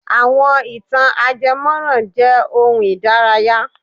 Àwọn ì̀tàn ajẹmọ́ran jẹ́ ohun ìdárayá.